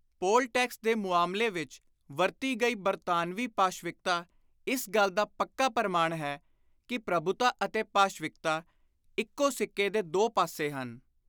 ਪੋਲ tax ਦੇ ਮੁਆਮਲੇ ਵਿਚ ਵਰਤੀ ਗਈ ਬਰਤਾਨਵੀ ਪਾਸ਼ਵਿਕਤਾ ਇਸ ਗੱਲ ਦਾ ਪੱਕਾ ਪਰਮਾਣ ਹੈ ਕਿ ਪ੍ਰਭੁਤਾ ਅਤੇ ਪਾਸ਼ਵਿਕਤਾ ਇਕੋ ਸਿੱਕੇ ਦੇ ਦੋ ਪਾਸੇ ਹਨ।